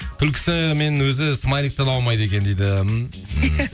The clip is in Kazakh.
күлкісі мен өзі смайликтен ауымайды екен дейді иә